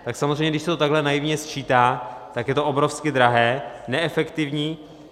Tak samozřejmě když se to takhle naivně sčítá, tak je to obrovsky drahé, neefektivní.